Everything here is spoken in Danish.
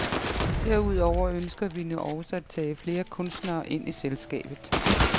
Derudover ønsker vi nu også at tage flere kunstnere ind i selskabet.